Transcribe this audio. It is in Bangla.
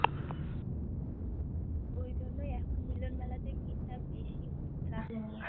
ওই জন্যই এখন মিলন মেলাতে ভিড় টা বেশি হয় রাসের মেলা থেকে